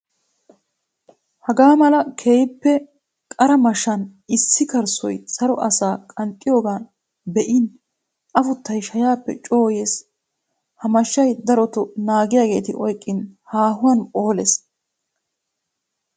Haga mala keehippe qara mashshan issi kayssoy saro asa qanxxidooga be'in afuttay shayappe coo yees. Ha mashay darotto naagiyagetti oyqqin haahuwan phooles.